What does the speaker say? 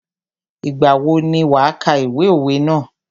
Ìgbà wo ni wà kà ìwé òwe ná?